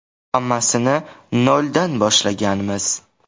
Hammasini noldan boshlaganmiz.